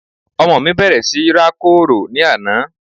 ọmọ mí bẹ̀rẹ̀ sí rákòrò ní àná